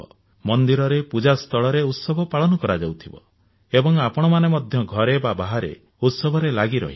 ମନ୍ଦିରରେ ପୂଜାସ୍ଥଳରେ ଉତ୍ସବ ପାଳନ କରାଯାଉଥିବା ଏବଂ ଆପଣମାନେ ମଧ୍ୟ ଘରେ ବା ବାହାରେ ଉତ୍ସବରେ ଲାଗି ରହିବେ